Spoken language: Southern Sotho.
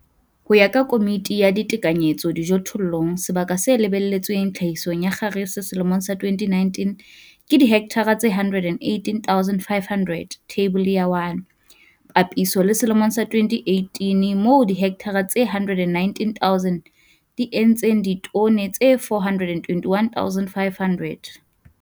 Ho ya ka Komiti ya Ditekanyetso Dijothollong, sebaka se lebelletsweng tlhahisong ya kgarese selemong sa 2019 ke dihekthara tse 118 500, Theibole ya 1, papisong le selemong sa 2018 moo dihekthara tse 119 000 di entseng ditone tse 421 500.